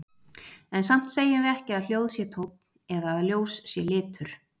En samt segjum við ekki að hljóð sé tónn eða að ljós sé litur.